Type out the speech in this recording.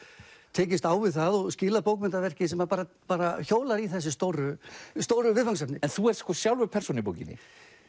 tekist á við það og skilað bókmenntaverki sem bara bara hjólar í þessi stóru stóru viðfangsefni en þú ert sjálfur persóna í bókinni